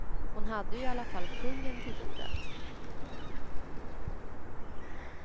Hon hade ju i alla fall kungen till bordet.